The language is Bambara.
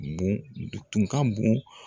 Bon tun ka bon